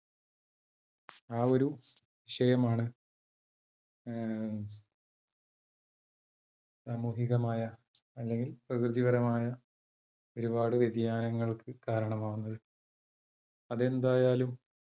ആ ഒരു വിഷയമാണ് ഏർ സാമൂഹികമായ അല്ലെങ്കിൽ പ്രകൃതിപരമായ ഒരുപാട് വ്യതിയാനങ്ങൾക്ക് കാരണമാകുന്നത്. അതെന്തായാലും